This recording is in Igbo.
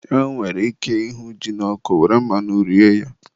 E nwere ike ịhụ ji n'ọkụ were mmanụ rie ya